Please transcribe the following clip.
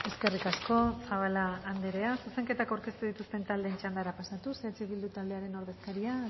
eskerrik asko zabala andrea zuzenketak aurkeztu dituzten taldeen txandara pasatuz eh bildu taldearen ordezkaria